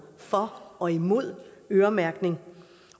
for og imod øremærkning